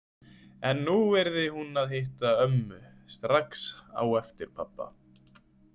En nú yrði hún að hitta ömmu strax á eftir pabba.